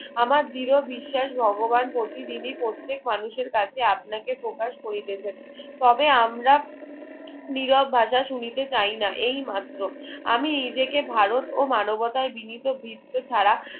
আমার দৃঢ় বিশ্বাস ভগবান প্রতিদিনই প্রত্যেক মানুষের কাছে আপনাকে প্রকাশ করিতেছেন তবে আমরা নীরব ভাষা শুনিতে চাইনা এই মাত্র আমি নিজেকে ভারত ও মানবতায় বিনীত বৃত্ত ছাড়া